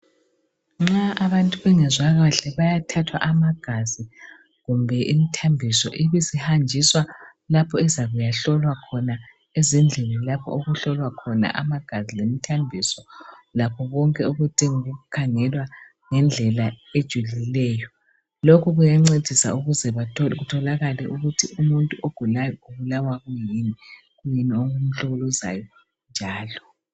Nxa abantu bengezwa kahle bayathathwa amagazi kumbe imithambiso, ibisihanjiswa lapho ezakuya hlolwa khona, ezindlini lapho okuhlolwa khona amagazi lemithambiso lakho konke okudinga ukukhangelwa ngendlela ejulileyo, lokhu kuyancedisa ukuze kutholakale ukuthi umuntu ogulayo ubulawa kuyini, kuyini okumhlukuluzayo njalo.